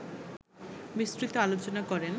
বিস্তৃত আলোচনা করেন